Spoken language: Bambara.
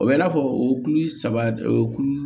O bɛ i n'a fɔ o kulu saba o kulu